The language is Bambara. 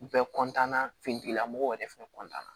Bɛɛ na finitigilamɔgɔw yɛrɛ fɛnɛ